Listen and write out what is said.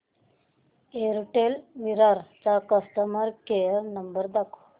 Airtel Virar चा customer care number दाखव